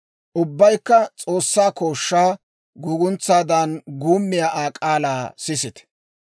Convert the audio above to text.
Ubbaykka S'oossaa kooshshaa, guuguntsaadan guummiyaa Aa k'aalaa sisite.